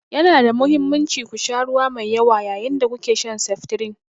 Yana da mahimmanci ku sha ruwa mai yawa yayin da kuke shan seftirin.